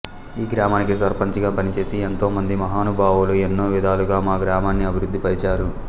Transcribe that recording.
ఈ గ్రామానికి సర్పంచిగా పనిచేసి ఎంతో మంది మహానుబావులు ఎన్నో విధాలుగా మా గ్రామాన్ని అభివృద్ధి పరిచారు